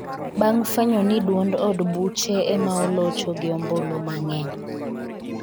bang' fwenyo ni duond od buche ema olocho gi ombulu mang'eny